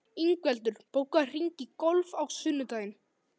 Ingveldur, bókaðu hring í golf á sunnudaginn.